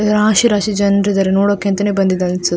ರಾಶಿ ರಾಶಿ ಜನರು ಇದ್ದಾರೆ ನೋಡೋಕೆ ಅಂತಾನೆ ಬಂದಿದ್ದಾರೆ ಅನ್ಸುತ್ತೆ.